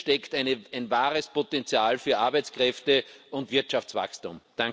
Hier steckt ein wahres Potenzial für Arbeitskräfte und Wirtschaftswachstum.